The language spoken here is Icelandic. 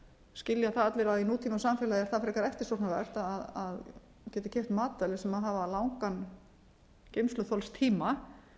skilja það allir að í nútímasamfélagi er það frekar eftirsóknarvert að geta keypt matvæli sem hafa langan geymsluþolstíma